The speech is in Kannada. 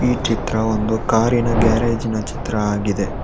ಈ ಚಿತ್ರವು ಒಂದು ಕಾರಿನ ಗ್ಯಾರೇಜಿನ ಚಿತ್ರ ಆಗಿದೆ.